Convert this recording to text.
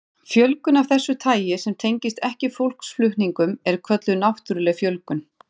Fjölgun af þessu tagi sem tengist ekki fólksflutningum er kölluð náttúruleg fjölgun.